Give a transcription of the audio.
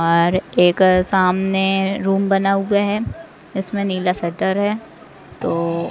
और एक सामने रूम बना हुए है इसमें नीला शटर है तो--